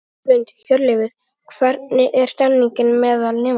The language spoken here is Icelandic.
Hrund: Hjörleifur, hvernig er stemningin meðal nemenda?